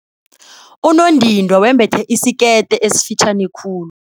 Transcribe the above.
Unondindwa wembethe isikete esifitjhani khulu.